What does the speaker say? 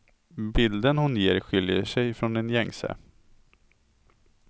Bilden hon ger skiljer sig från den gängse.